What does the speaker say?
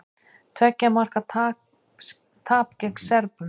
Tveggja marka tap gegn Serbum